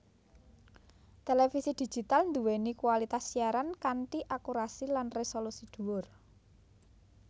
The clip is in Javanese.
Télévisi Digital duwéni kualitas siaran kanthi akurasi lan resolusi duwur